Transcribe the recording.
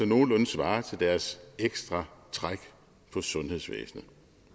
nogenlunde svarer til deres ekstra træk på sundhedsvæsenet